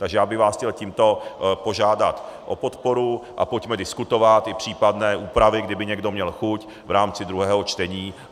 Takže já bych vás chtěl tímto požádat o podporu a pojďme diskutovat i případné úpravy, kdyby někdo měl chuť v rámci druhého čtení.